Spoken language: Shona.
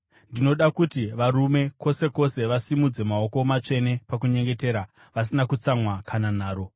Ndinoda kuti varume kwose kwose vasimudze maoko matsvene pakunyengetera, vasina kutsamwa kana nharo.